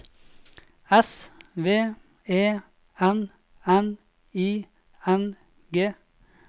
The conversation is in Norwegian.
S V E N N I N G